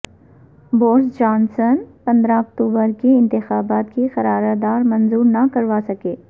Boris Johnson پندرہ اکتوبر کے انتخابات کی قرار دار منظور نہ کروا سکے